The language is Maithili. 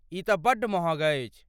ई तँ बड्ड महग अछि।